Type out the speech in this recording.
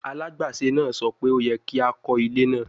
Alagbaṣe naa sọ pe o yẹ ki a kọ ile naa